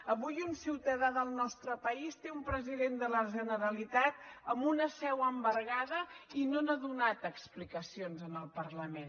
avui un ciutadà del nostre país té un president de la generalitat amb una seu embargada i no n’ha donat explicacions en el parlament